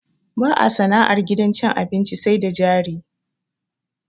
Ba a sana'ar gidan cin abinci sai da jari.